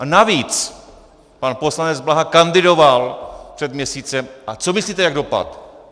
A navíc pan poslanec Blaha kandidoval před měsícem - a co myslíte, jak dopadl?